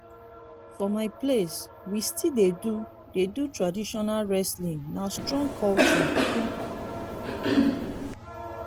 for my place we still dey do dey do traditional wrestling na strong culture.